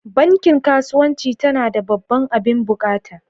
Bankin kasuwanci ta na da babban abin buƙata.